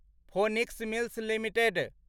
phoenix Mills limited